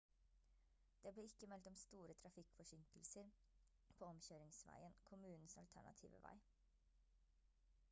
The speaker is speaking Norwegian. det ble ikke meldt om store trafikkforsinkelser på omkjøringsveien kommunens alternative vei